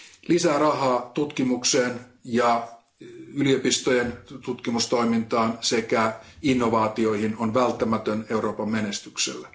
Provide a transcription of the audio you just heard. Lisää rahaa tutkimukseen ja yliopistojen tutkimustoimintaan sekä innovaatioihin on välttämätön edellytys Euroopan menestykselle.